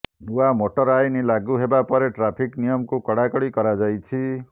ନୂଆ ମୋଟର ଆଇନ ଲାଗୁ ହେବା ପରେ ଟ୍ରାଫିକ ନିୟମକୁ କଡାକଡି କରାଯାଇଛି